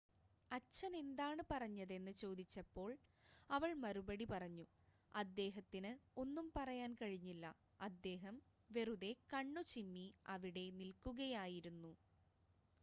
"അച്ഛൻ എന്താണ് പറഞ്ഞതെന്ന് ചോദിച്ചപ്പോൾ അവൾ മറുപടി പറഞ്ഞു "അദ്ദേഹത്തിന് ഒന്നും പറയാൻ കഴിഞ്ഞില്ല - അദ്ദേഹം വെറുതെ കണ്ണുചിമ്മി അവിടെ നിൽക്കുകയായിരുന്നു.""